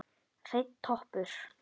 Hreinn toppur.